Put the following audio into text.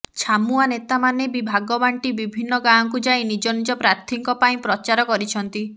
ଛାମୁଆ ନେତାମାନେ ବି ଭାଗବାଣ୍ଟି ବିଭିନ୍ନ ଗାଁକୁ ଯାଇ ନିଜ ନିଜ ପ୍ରାର୍ଥୀଙ୍କ ପାଇଁ ପ୍ରଚାର କରିଛନ୍ତି